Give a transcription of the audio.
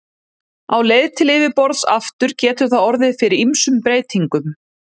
Á leið til yfirborðs aftur getur það orðið fyrir ýmsum breytingum.